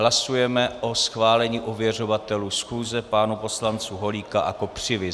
Hlasujeme o schválení ověřovatelů schůze, pánů poslanců Holíka a Kopřivy.